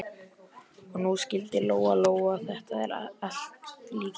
Og nú skildi Lóa Lóa þetta allt líka.